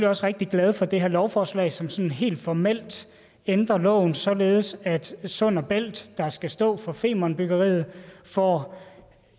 også rigtig glade for det her lovforslag som sådan helt formelt ændrer loven således at sund bælt der skal stå for femernbyggeriet får